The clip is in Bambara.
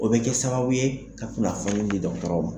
O bɛ kɛ sababu ye ka kunafɔni di dɔgɔtɔrɔ ma.